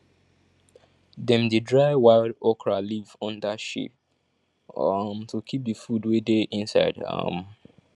dem dey dry wild okra leaf under shade um to keep the food wey dey inside um